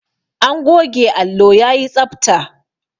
An goge allo yayi tsabta.